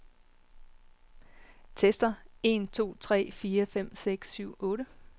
Tester en to tre fire fem seks syv otte.